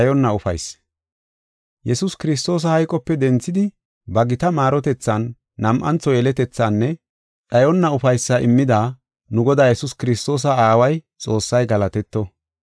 Yesuus Kiristoosa hayqope denthidi ba gita maarotethan nam7antho yeletethaanne dhayonna ufaysaa immida nu Godaa Yesuus Kiristoosa Aaway, Xoossay galatetto.